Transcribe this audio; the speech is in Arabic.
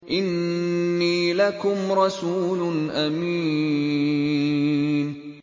إِنِّي لَكُمْ رَسُولٌ أَمِينٌ